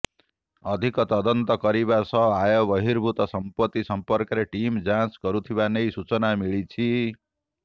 ଅଧିକ ତଦନ୍ତ କରିବା ସହ ଆୟ ବର୍ହିଭୁତ ସମ୍ପତ୍ତି ସମ୍ପର୍କରେ ଟିମ୍ ଯାଞ୍ଚ କରୁଥିବା ନେଇ ସୂଚନା ମିଳିଛି